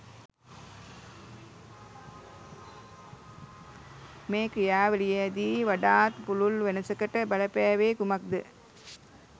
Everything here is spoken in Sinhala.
මේ ක්‍රියාවලියේදී වඩාත් පුළුල් වෙනසකට බලපෑවේ කුමක් ද